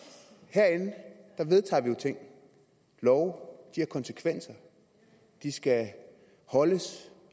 herinde vedtager vi jo ting love har konsekvenser de skal holdes